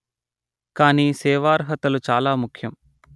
కానీ సేవార్హతలు చాలా ముఖ్యం